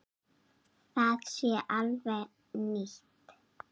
Það sé alveg nýtt.